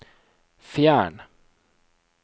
fjern